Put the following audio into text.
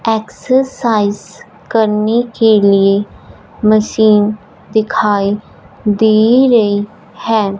Exercise करने के लिए मशीन दिखाई दे रइ है।